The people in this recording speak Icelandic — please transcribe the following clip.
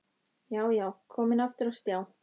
Já, já, komin aftur á stjá!